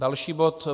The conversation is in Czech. Další bod: